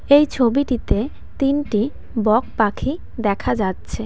এই ছবিটিতে তিনটি বক পাখি দেখা যাচ্ছে।